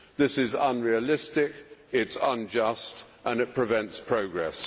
This is unrealistic, it is unjust and it prevents progress.